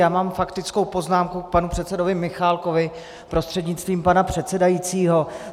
Já mám faktickou poznámku k panu předsedovi Michálkovi prostřednictvím pana předsedajícího.